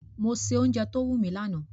Mo se ounje to wúni lórí lanàá